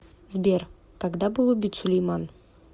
сбер когда был убит сулейман